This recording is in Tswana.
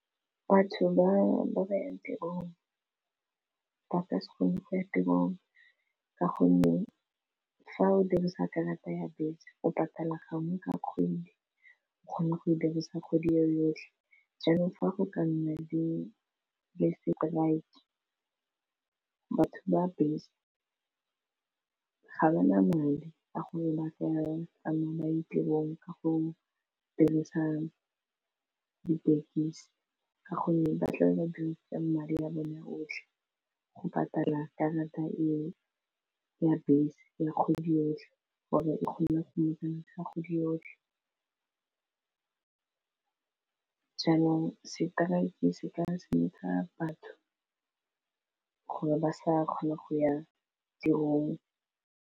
Batho ba ba yang tirong ba ka se kgone go ya tirong ka gonne fa o dirisa karata ya bese o patala gangwe ka kgwedi o kgona go e dirisa kgwedi ye yotlhe jaanong fa go ka nna di le lets say strike batho ba bese ga ba na madi a go fa ya ba tsamaye ba ye tirong ka go dirisa ditekisi ka gonne ba tla ba dirisitse madi a bone otlhe go patala karata e ya bese ya kgwedi gore e kgone go dirisa ya kgwedi yo yotlhe jaanong stike se ka senyetsa batho gore ba sa kgone go ya tirong.